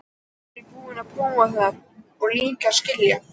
Samt var ég búin að prófa það og líka skilja.